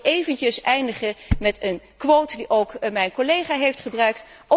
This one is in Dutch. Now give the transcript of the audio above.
Ik wil eindigen met een quote die ook mijn collega heeft gebruikt.